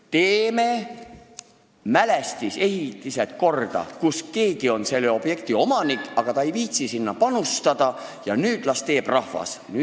Teeme ka need ehitismälestised korda, mille omanik on keegi, kes ei viitsi sinna panustada, nüüd las teeb rahvas!